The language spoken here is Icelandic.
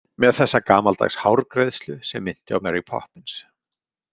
Með þessa gamaldags hárgreiðslu sem minnti á Mary Poppins.